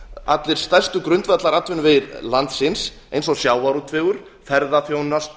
allir stærstu grundvallaratvinnuvega landsins eins og sjávarútvegur ferðaþjónusta